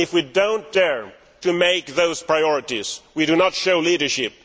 If we do not dare to set those priorities, we do not show leadership.